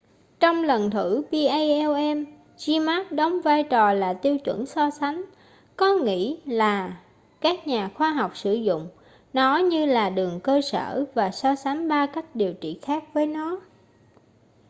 trong lần thử palm zmapp đóng vai trò là tiêu chuẩn so sánh có nghĩ là các nhà khoa học sử dụng nó như là đường cơ sở và so sánh ba cách điều trị khác với nó